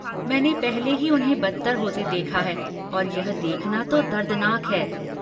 मैंने पहले ही उन्हें बदतर होते देखा है और यह देखना तो दर्दनाक है।